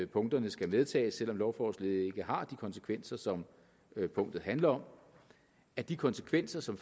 punkterne skal medtages selv om lovforslaget slet ikke har de konsekvenser som punktet handler om af de konsekvenser som